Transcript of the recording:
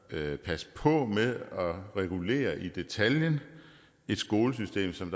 passe på med at regulere i detaljen i et skolesystem som